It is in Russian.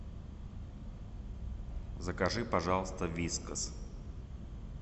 закажи пожалуйста вискас